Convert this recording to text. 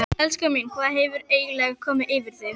Elskan mín, hvað hefur eiginlega komið yfir þig?